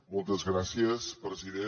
moltes gràcies president